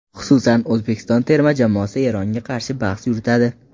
Xususan, O‘zbekiston terma jamoasi Eronga qarshi bahs yuritadi.